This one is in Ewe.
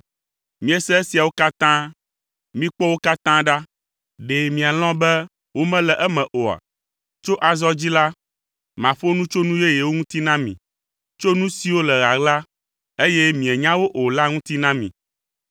Miese esiawo katã. Mikpɔ wo katã ɖa. Ɖe mialɔ̃ be wole eme oa? “Tso azɔ dzi la, maƒo nu tso nu yeyewo ŋu na mi, tso nu siwo le ɣaɣla, eye mienya wo o la ŋuti na mi.